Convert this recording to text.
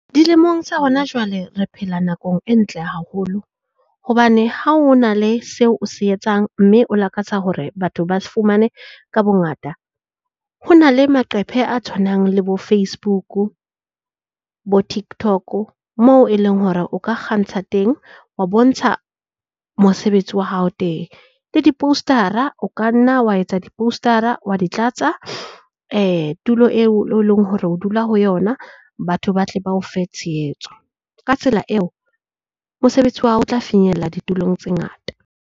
Dilemong tsa hona jwale, re phela nakong e ntle haholo hobane ha o na le seo o se etsang, mme o lakatsa hore batho ba se fumane ka bongata. Ho na le maqephe a tshwanang le bo Facebook-u bo TikTok moo e leng hore o ka kgantsha teng, wa bontsha mosebetsi wa hao teng. Le di-poster-ra o ka nna wa etsa di-poster-ra wa di tlatsa tulo eo eleng hore o dula ho yona batho ba tle ba o fe tshehetso. Ka tsela eo mosebetsi wa hao o tla finyella ditulong tse ngata.